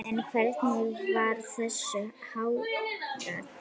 En hvernig var þessu háttað?